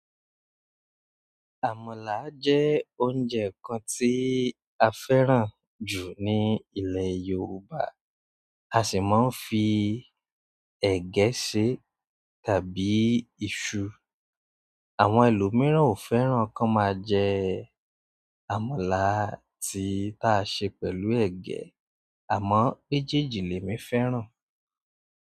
Àmàlà jẹ́ oúnjẹ kan tí a fẹ́ràn jù ní ilẹ̀ Yorùbá. A sì máa ń fi ẹ̀gẹ́ ṣe tàbí iṣu. Àwọn ẹlòmíràn ò fẹ́ràn kí wọ́n máa jẹ àmàlà tí táa ṣe pẹ̀lú ẹ̀gẹ́ àmọ́ mèjeèjì lèmi fẹ́ràn.